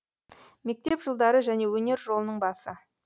мектеп жылдары және өнер жолының басы